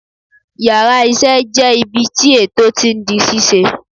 Yàrá isé jé ibi tí ètò tí n di ṣíṣe